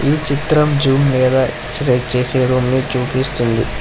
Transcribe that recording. ఈ చిత్రం లేదా ఎక్సర్సైజ్ చేసే వాళ్ళని చూపిస్తుంది.